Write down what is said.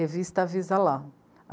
Revista Avisa Lá.